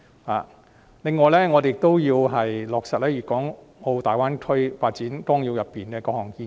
此外，我們亦要落實《粵港澳大灣區發展規劃綱要》中的各項建議。